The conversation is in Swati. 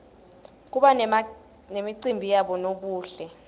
kuba nemacimbi yabonobuhle